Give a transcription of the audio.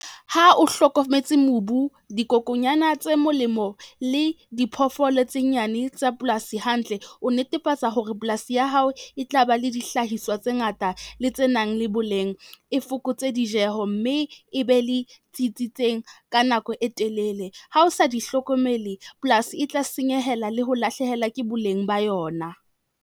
Ha o hlokometse mobu, dikokonyana tse molemo le diphoofolo tse nyane tsa polasi hantle, o netefatsa hore polasi ya hao e tla ba le dihlahiswa tse ngata le tse nang le boleng e fokotse dijeho mme e be le tsitsitseng ka nako e telele. Ha o sa di hlokomele, polasi e tla senyehela le ho lahlehela ke boleng ba yona.